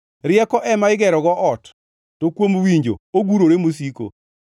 Rieko ema igerogo ot, to kuom winjo ogurore mosiko;